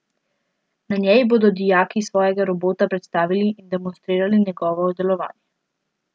Na njej bodo dijaki svojega robota predstavili in demonstrirali njegovo delovanje.